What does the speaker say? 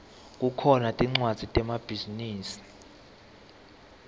kukhona tmcwadzi temabhizinisi